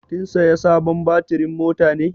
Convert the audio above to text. Kin saya sabon batirin mota ne?